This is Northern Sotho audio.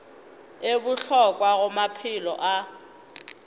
e bohlokwa go maphelo a